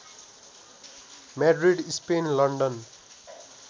Madrid Spain London